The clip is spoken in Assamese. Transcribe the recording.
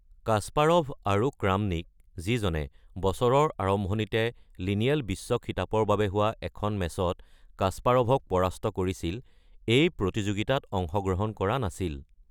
কাস্পাৰভ, আৰু ক্ৰামনিক যিজনে বছৰৰ আৰম্ভণিতে লিনিয়েল বিশ্ব খিতাপৰ বাবে হোৱা এখন মেচত কাস্পাৰভক পৰাস্ত কৰিছিল, এই প্ৰতিযোগিতাত অংশগ্ৰহণ কৰা নাছিল।